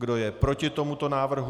Kdo je proti tomuto návrhu?